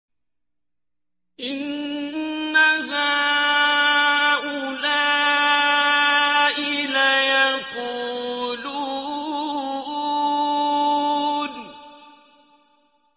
إِنَّ هَٰؤُلَاءِ لَيَقُولُونَ